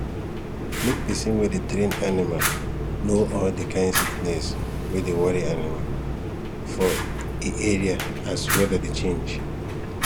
make person wey dey train animal know all the kind sickness wey dey worry animal for e area as weather dey change